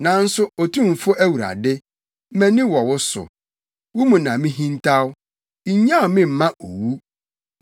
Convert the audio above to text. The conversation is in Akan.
Nanso Otumfo Awurade, mʼani wɔ wo so; wo mu na mihintaw, nnyaw me mma owu.